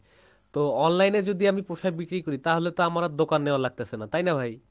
তো online এ যদি আমি পোশাক বিক্রি করি তাহলে তো আমার আর দোকান নেয়া লাগতেসে না, তাই না ভাই?